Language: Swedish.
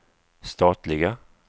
statliga